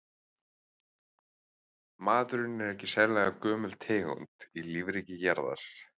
Maðurinn er ekki sérlega gömul tegund í lífríki jarðar.